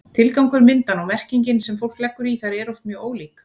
tilgangur myndanna og merkingin sem fólk leggur í þær eru oft mjög ólík